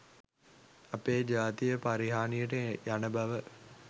අපේ ජාතිය පරිහානියට යන බව